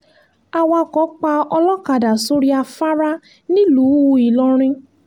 awakọ̀ pa olókàdá sórí afárá nílùú ìlọrin